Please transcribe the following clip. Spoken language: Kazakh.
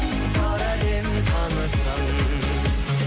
бар әлем танысын